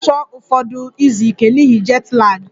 M ga-achọ ụfọdụ izu ike n'ihi jet lag